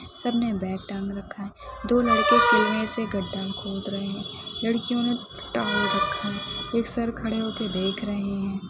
सबने बैग टांग रखा हैं दो लड़के कुँए से गड्ढा खोद रहे हैं लड़कियों ने टांग रखा है एक सर खड़े होके देख रहे हैं।